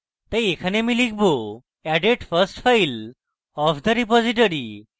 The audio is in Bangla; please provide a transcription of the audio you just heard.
তাই এখানে আমি লিখব: added first file of the repository